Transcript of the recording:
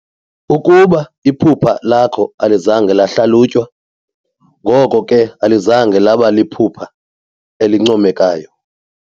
Ukuba iphupha lakho alizange lahlalutywa, ngoko ke alizange laba liphupha elincomekayo.